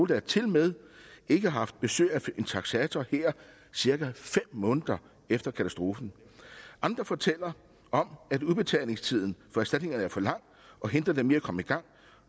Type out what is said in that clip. der tilmed ikke har haft besøg af en taksator her cirka fem måneder efter katastrofen andre fortæller om at udbetalingstiden for erstatningerne er for lang og hindrer dem i at komme i gang